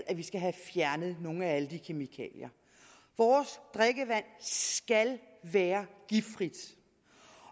at vi skal have fjernet nogle af alle de kemikalier vores drikkevand skal være giftfrit